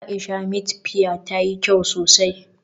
Aisha meat pie tayi kyau sosai.